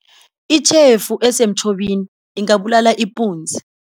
Itjhefu esemtjhobini ingabulala ipunzi.